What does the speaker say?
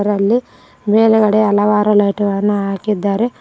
ಅಲ್ಲಿ ಮೇಲಗಡೆ ಹಲವಾರು ಲೈಟ ಗಳನ್ನು ಹಾಕಿದ್ದಾರೆ.